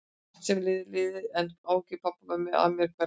Allt sem er liðið er liðið, en áhyggjur pabba og mömmu af mér hverfa aldrei.